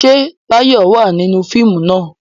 Ṣé Táyọ̀ wà nínú fíìmù náà?